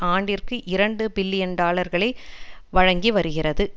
ஆண்டிற்கு இரண்டு பில்லியன் டாலர்களை வழங்கிவருகிறது